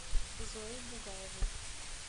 зои бугаевой